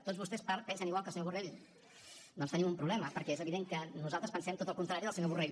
tots vostès pensen igual que el senyor borrell doncs tenim un problema perquè és evident que nosaltres pensem tot al contrari del senyor borrell